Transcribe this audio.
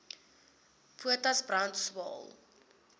potas brand swael